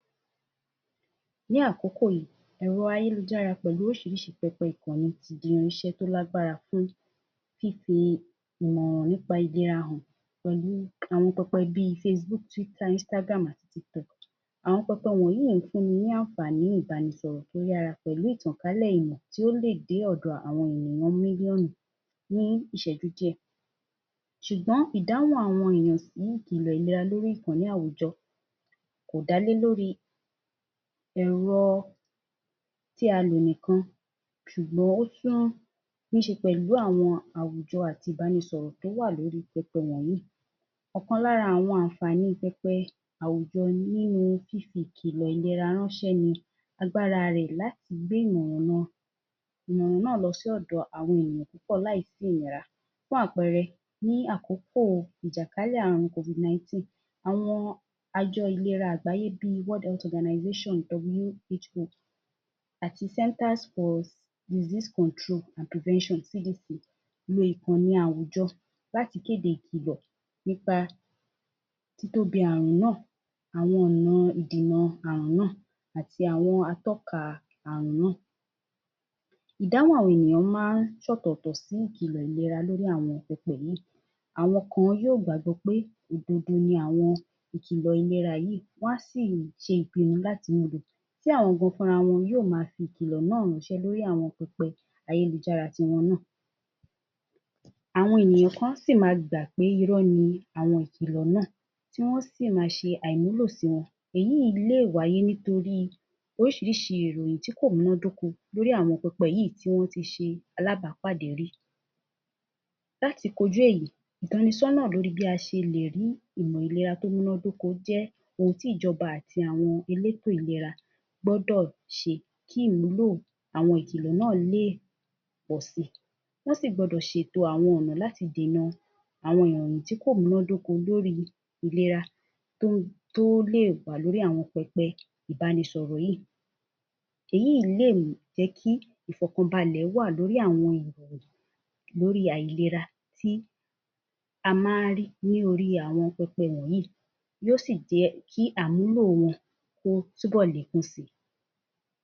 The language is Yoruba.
Ní àkókò yìí, Ẹ̀rọ ayélujára pẹ̀lú oríṣiríṣi pẹpẹ ìkànnì tí di irínṣẹ́ tí ó lágbára fún fífi ìmọ̀ràn nípa èdè wa hàn pẹ̀lú àwọn bí Facebook, Twitter, Instagram, àti TikTok, àwọn pẹpẹ wọ̀nyí fún ni ní àǹfààní ibánisọ̀rọ̀ tí ó yára pẹ̀lú ìtànkálẹ̀ ìmọ̀ tí ó lè dé ọ̀dọ̀ àwọn ènìyàn mílíọ̀nù ni ìṣẹ́jú díẹ̀. Ṣùgbọ́n, ìdáhùn àwọn ènìyàn sí ìkilọ̀ ìlera lórí ìkànnì àwùjọ kò dá lé lórí Ẹ̀rọ tí à lò nìkan ṣùgbọ́n, ó tún ní í ṣe pẹ̀lú àwọn àwùjọ àti ibánisọ̀rọ̀ tí ó wà lórí pẹpẹ wọ̀nyí. Ọ̀kan lára àwọn àǹfààní pẹpẹ wọ̀nyí ni àwùjọ ni, fífi ìkilọ̀ ìlera ránṣẹ́, agbára rẹ láti gbé ìràn náà láti ọ̀dọ̀ ènìyàn púpọ̀ láì sí ìnira fún àpẹẹrẹ, ní àkókò ìjàkálẹ̀ àrùn Covid-19, àwọn àjọ ìlera àgbáyé bí, World Health Organization (WHO), àti Center for Disease Control and Prevention (CDPC) lo ìkànnì àwùjọ láti le fi kéde ìkilọ̀ tí ó de àrùn náà, àwọn ọ̀nà ìdènà àrùn náà àti àwọn atọ́ka àrùn náà, Ìdáhùn àwọn ènìyàn máa ń ṣe ọ̀tọ̀ọ̀tọ̀ sì ìkilọ̀ ìlera lórí àwọn ìkéde yìí, àwọn kan yóò gbàgbọ́ pé òdodo ni àwọn ìkilọ̀ ìlera yìí, wá a sì ṣe ìpinnu láti lo tí àwọn gan yóò máa fi ìkilọ̀ náà ránṣẹ́ lórí àwọn ìkànnì ayélujára tí wọn náà. Àwọn ènìyàn kan a si máa gbà pé irọ́ ni àwọn ìkilọ̀ náà, tí wọn á sí máa ṣe àìwúlò sì wọn, èyí lé wáyé nítorí pé oríṣiríṣi ìròyìn tí kò múná dóko lórí àwọn pẹpẹ yìí tí wọn tí ṣe alábapàdé rí. Láti kọjú èyí, ìtọ́ni sọ́nà lórí bí a ṣe lé rí àwọn ìlera tí ó múná dóko jẹ ohun ti Ìjọba àti àwọn Elétò ìlera gbọ́dọ̀ ṣe kí ìwúlò àwọn ìkilọ̀ náà lé pọ̀ sí. Wọn sí gbọ́dọ̀ ṣètò àwọn ọ̀nà láti dènà àwọn ìròyìn tí kò múná dóko lórí ìlera tí ó lè wá lórí àwọn pẹpẹ ibánisọ̀rọ̀ yìí, èyí lé jẹ ki ìfọkànbàlẹ̀ lórí àwọn ìràn yìí lórí àìlera tí a máa ń rí lórí aàwọn pẹpẹ wọ̀nyí yóò sí jẹ kí àmúlò wọn kí ó tún bọ̀ lékún si.